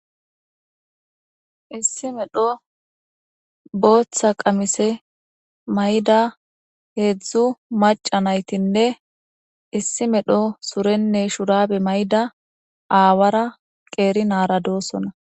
Issi medho boththa qamise miyiza hezhzhu maca naytinne issi medho mayida shurabe awaara naa'ra dosona